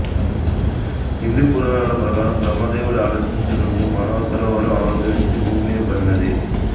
హిందూ పురాణాల ప్రకారం బ్రహ్మ దేవుడి ఆలోచననుండి మానసరోవరం ఆవిర్భవించి భూమ్మీద పడినది